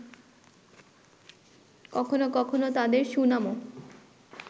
কখনো কখনো তাদের সুনামও